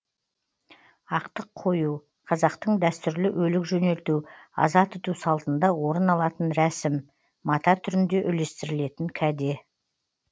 ақтық қою қазақтың дәстүрлі өлік жөнелту аза тұту салтында орын алатын рәсім мата түрінде үлестірілетін кәде